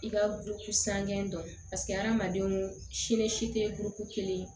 I ka buruku san gɛn don paseke hadamadenw sini si tɛ buruku kelen